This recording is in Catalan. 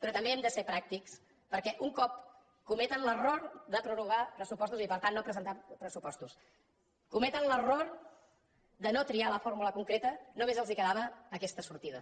però també hem de ser pràctics perquè un cop que cometen l’error de prorrogar pressupostos i per tant de no presentar pressupostos que cometen l’error de no triar la fórmula concreta només els quedava aquesta sortida